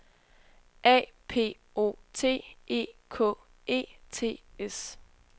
A P O T E K E T S